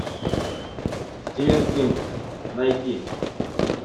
стивен кинг найти